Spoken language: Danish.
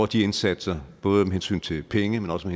de indsatser både med hensyn til penge men også